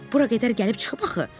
Bura qədər gəlib çıxıb axı.